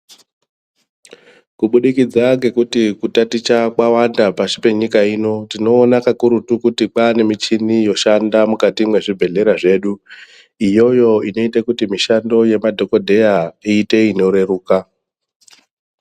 Kubudikidza ngekuti kutaticha kwawanda pashi penyika ino tinoona kakurutu kuti kwane michini yoshanda mukati mezvibhedhlera zvedu iyoyo inoita kuti mishando yezvibhedhera iite inoreruka.